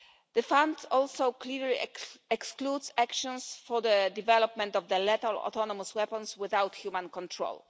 The fund also clearly excludes actions for the development of lethal autonomous weapons without human control.